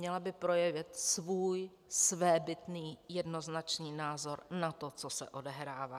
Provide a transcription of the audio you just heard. Měla by projevit svůj svébytný jednoznačný názor na to, co se odehrává.